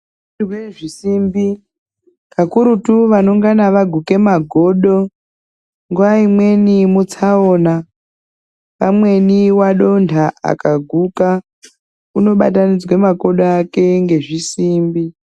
Pakurutu vanengana vaguka magodo nguwa ikweni itsaona munguwa imweni wadonha akaguka unobatanidzwa makodo ake ngezvisimbi.